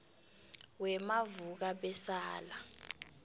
wemavukabesala